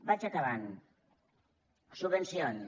vaig acabant subvencions